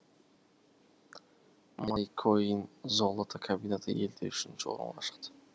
майкоинзолото комбинаты елде үшінші орынға шықты